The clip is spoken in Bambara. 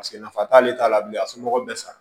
Paseke nafa t'ale t'a la bilen a somɔgɔw bɛ san